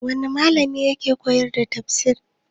Wani malami ke koyar da fisis?